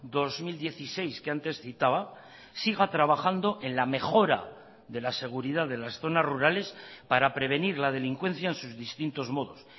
dos mil dieciséis que antes citaba siga trabajando en la mejora de la seguridad de las zonas rurales para prevenir la delincuencia en sus distintos modos